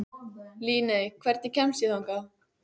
Líney, hvernig kemst ég þangað?